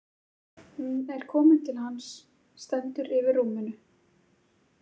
Hún er komin til hans, stendur yfir rúminu.